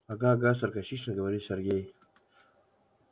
ага ага саркастично говорит сергей